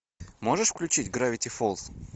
можешь включить гравити фолз